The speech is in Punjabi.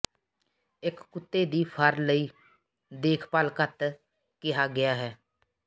ਇੱਕ ਕੁੱਤੇ ਦੀ ਫਰ ਲਈ ਦੇਖਭਾਲ ਘੱਤ ਕਿਹਾ ਗਿਆ ਹੈ